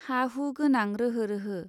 हा हु गोनां रोहो रोहो.